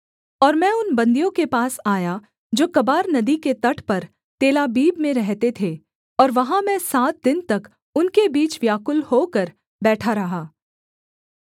और मैं उन बन्दियों के पास आया जो कबार नदी के तट पर तेलाबीब में रहते थे और वहाँ मैं सात दिन तक उनके बीच व्याकुल होकर बैठा रहा